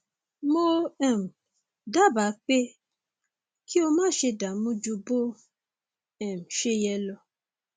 mo um dábàá pé kí o máṣe dààmú ju bó um ṣe yẹ lọ